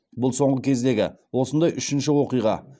бұл соңғы кездегі осындай үшінші оқиға